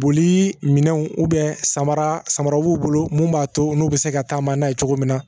Boli minɛnw samara samara b'u bolo mun b'a to n'u bɛ se ka taama n'a ye cogo min na